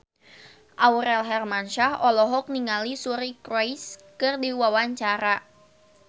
Aurel Hermansyah olohok ningali Suri Cruise keur diwawancara